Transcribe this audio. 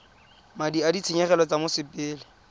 madi a ditshenyegelo tsa mosepele